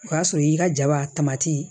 O y'a sɔrɔ i y'i ka jaba